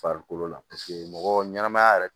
Farikolo la mɔgɔ ɲɛnɛmaya yɛrɛ